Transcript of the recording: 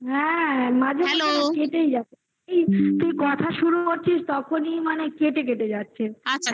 হ্যাঁ তুই কথা শুরু করছিস তখনি মানে কেটে কেটে যাচ্ছে